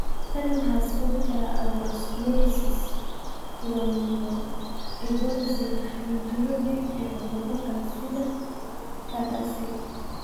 Tan waxaa sababi kara atherosclerosis, thromboembolism (xinjiro dhiig) iyo cuduro kale sida CADASIL.